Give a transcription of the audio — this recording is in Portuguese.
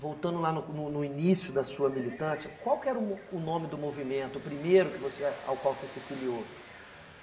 Voltando lá no cu no no início da sua militância, qual que era o mo o nome do movimento, o primeiro que você ao qual você se filiou?